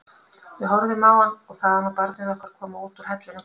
Við horfðum á hann og þaðan á barnið okkar koma út úr hellinum kalda.